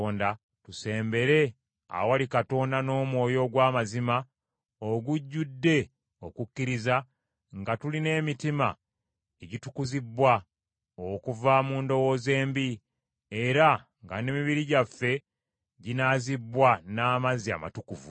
tusembere awali Katonda n’omwoyo ogw’amazima ogujjudde okukkiriza nga tulina emitima egitukuzibbwa okuva mu ndowooza embi, era nga n’emibiri gyaffe ginaazibbwa n’amazzi amatukuvu.